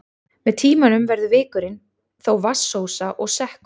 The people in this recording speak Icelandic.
Með tímanum verður vikurinn þó vatnsósa og sekkur.